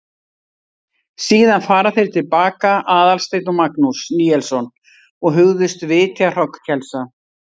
Síðan fara þeir til baka, Aðalsteinn og Magnús Níelsson, og hugðust vitja hrognkelsa.